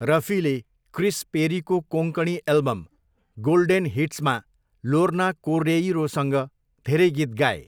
रफीले Chris पेरीको Konkani album golden हिट्समा Lorna कोर्डेइरोसँग धेरै गीत गाए।